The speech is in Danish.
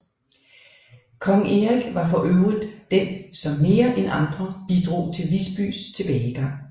Kong Erik var for øvrigt den som mere end andre bidrog til Visbys tilbagegang